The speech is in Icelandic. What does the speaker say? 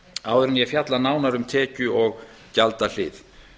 áður en ég fjalla nánar um tekju og gjaldahlið